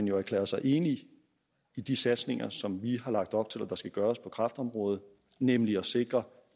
jo erklæret sig enig i de satsninger som vi har lagt op til at der skal gøres på kræftområdet nemlig at sikre